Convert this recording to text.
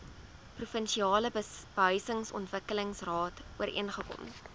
provinsiale behuisingsontwikkelingsraad ooreengekom